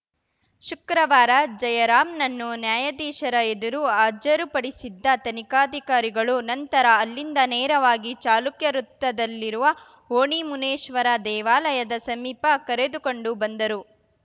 ಶುಕ್ರವಾರ ಜಯರಾಂನನ್ನು ನ್ಯಾಯಾಧೀಶರ ಎದುರು ಹಾಜರುಪಡಿಸಿದ್ದ ತನಿಖಾಧಿಕಾರಿಗಳು ನಂತರ ಅಲ್ಲಿಂದ ನೇರವಾಗಿ ಚಾಲುಕ್ಯ ವೃತ್ತದಲ್ಲಿರುವ ಓಣಿ ಮುನೇಶ್ವರ ದೇವಾಲಯದ ಸಮೀಪ ಕರೆದುಕೊಂಡು ಬಂದರು